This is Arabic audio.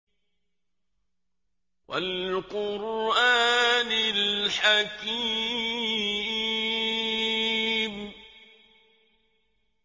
وَالْقُرْآنِ الْحَكِيمِ